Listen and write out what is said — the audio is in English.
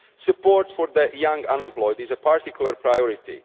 Support for the young and unemployed is a particular priority.